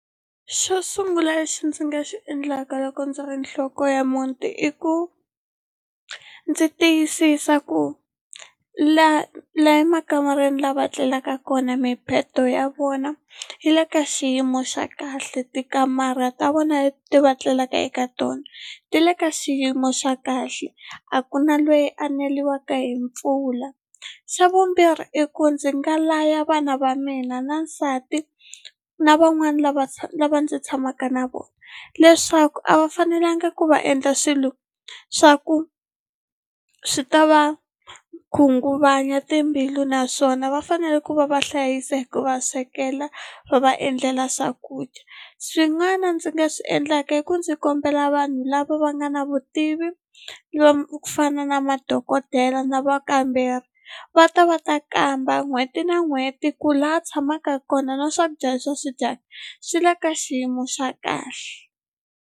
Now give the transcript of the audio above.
Xo sungula lexi ndzi nga xi endlaka loko ndzi ri nhloko ya muti i ku ndzi tiyisisa ku laha la emakamareni lava tlelaka kona mibedo ya vona yi le ka xiyimo xa kahle tikamara ta vona leti va tlelaka eka tona ti le ka xiyimo xa kahle a ku na lweyi a neliwaka hi mpfula xa vumbirhi i ku ndzi nga laya vana va mina na nsati na van'wani lava lava ndzi tshamaka na vona leswaku a va fanelanga ku va endla swilo swa ku swi ta va khunguvanya timbilu naswona va fanele ku va va hlayisa hi ku va swekela va va endlela swakudya swin'wana ndzi nga swi endlaka i ku ndzi kombela vanhu lava va nga na vutivi lomu ku fana na madokodela na vakamberi va ta va ta kamba n'hweti na n'hweti ku laha a tshamaka kona na swakudya leswi va swi dyaka swi le ka xiyimo xa kahle.